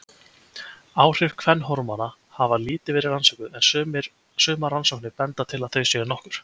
Áhrif kvenhormóna hafa lítið verið rannsökuð en sumar rannsóknir benda til að þau séu nokkur.